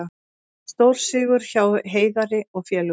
Stórsigur hjá Heiðari og félögum